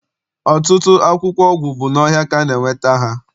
Ọtụtụ akwụkwọ ọgwụ bụ n'ọhịa ka a na- enweta ha.